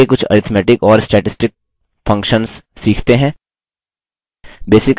आगे कुछ arithmetic और statistic functions सीखते हैं